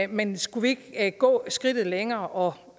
men skulle vi ikke gå skridtet længere og